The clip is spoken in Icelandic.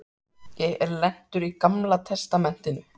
Ég er lentur í Gamla testamentinu.